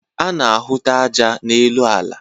A na-ahụta aja n'elu ala.